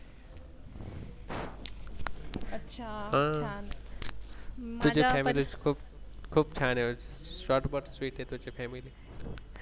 तुझी Family खूप खूप छान आहे. आहे Family